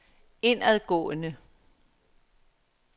indadgående